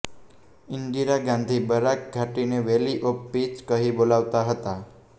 ઇન્દિરા ગાંધી બરાક ઘાટીને valley of peace કહી બોલાવતા હતા